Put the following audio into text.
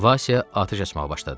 Vasya atəş açmağa başladı.